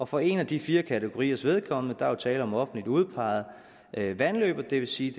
for en af de fire kategoriers vedkommende er der jo tale om offentligt udpegede vandløb og det vil sige